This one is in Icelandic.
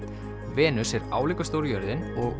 Venus er álíka stór og jörðin